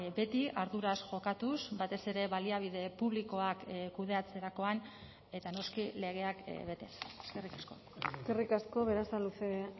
beti arduraz jokatuz batez ere baliabide publikoak kudeatzerakoan eta noski legeak betez eskerrik asko eskerrik asko berasaluze